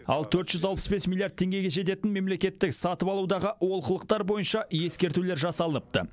ал төрт жүз алпыс бес миллиард теңгеге жететін мемлекеттік сатып алудағы олқылықтар бойынша ескертулер жасалыныпты